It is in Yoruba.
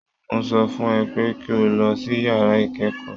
Mo sọ fún ẹ pé kí o lọ sí yàrá ìkẹ́kọ̀ọ́